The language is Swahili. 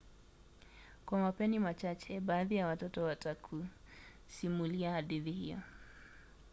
kwa mapeni machache baadhi ya watoto watakusimulia hadithi hiyo